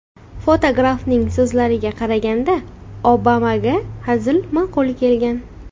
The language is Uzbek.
Fotografning so‘zlariga qaraganda, Obamaga hazil ma’qul kelgan.